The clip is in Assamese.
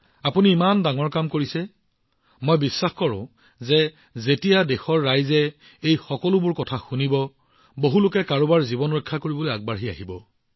আপুনি ইমান ডাঙৰ কাম কৰিছে আৰু মই বিশ্বাস কৰোঁ যে যেতিয়া দেশখনে এই সকলোবোৰ জানিব পাৰিব তেতিয়া বহুলোকে কাৰোবাৰ জীৱন ৰক্ষা কৰিবলৈ আগবাঢ়ি আহিব